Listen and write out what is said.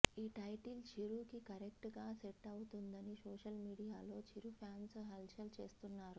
ఈ టైటిల్ చిరు కి కరెక్ట్ గా సెట్ అవుతుందని సోషల్ మీడియాలో చిరు ఫాన్స్ హల చల్ చేస్తున్నారు